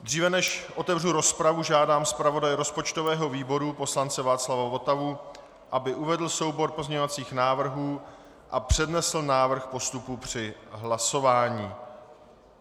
Dříve než otevřu rozpravu, žádám zpravodaje rozpočtového výboru poslance Václava Votavu, aby uvedl soubor pozměňovacích návrhů a přednesl návrh postupu při hlasování.